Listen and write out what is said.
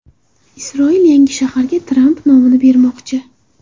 Isroil yangi shaharga Tramp nomini bermoqchi.